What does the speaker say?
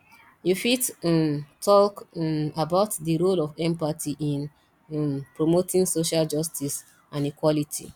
you fit um talk um about di role of empathy in um promoting social justice and equality